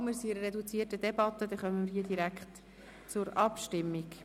Wir befinden uns in einer reduzierten Debatte, somit kommen wir hier direkt zur Abstimmung.